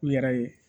U yɛrɛ ye